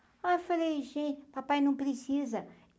Aí eu falei, gente, papai, não precisa.